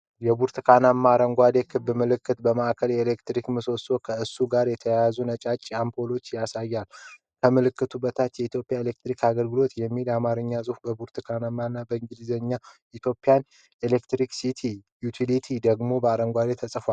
የብርቱካናማና አረንጓዴ ክብ ምልክት በማዕከሉ የኤሌክትሪክ ምሰሶና ከእሱ ጋር የተያያዙ ነጫጭ አምፖሎችን ያሳያል። ከምልክቱ በታች "የኢትዮጵያ ኤሌክትሪክ አገልግሎት" የሚለው የአማርኛ ጽሑፍ በብርቱካናማ፣ የእንግሊዝኛው "Ethiopian Electric Utility" ደግሞ በአረንጓዴ ተጽፏል።